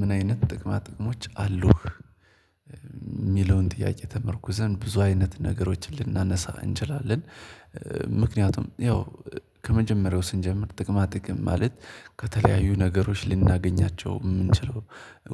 ምን አይነት ጥቅማ ጥቅሞች አሉህ? የሚለውን ጥያቄ ተመርኩዘን ብዙ አይነት ነገሮችን ልናነሳ እንችላለን። ምክንያቱም ያው ከመጀመሪያው ስንጀምር ጥቅማ ጥቅም ማለት ከተለያዩ ነገሮች ልናገኛቸው የምንችለው